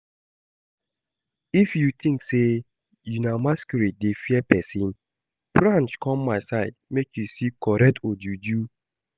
If you think say una masquerade dey fear person, branch come my side make you see correct ojuju